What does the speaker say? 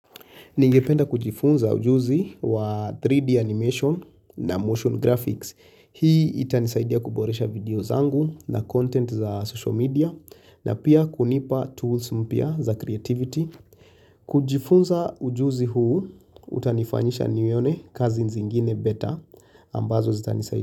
Ningependa kujifunza ujuzi wa 3D animation na motion graphics. Hii itanisaidia kuboresha video zangu na content za social media na pia kunipa tools mpya za creativity. Kujifunza ujuzi huu, utanifanyisha nione kazi zingine better ambazo zitanisaidia.